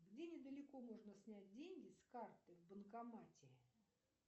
где недалеко можно снять деньги с карты в банкомате